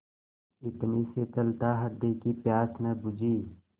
इतनी शीतलता हृदय की प्यास न बुझी